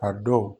A dɔw